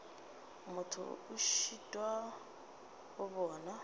motho a šitwa go bona